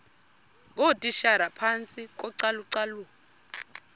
ngootitshala phantsi kocalucalulo